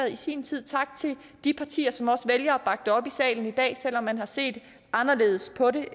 i sin tid tak til de partier som også vælger at bakke det op i salen i dag selv om man har set anderledes på det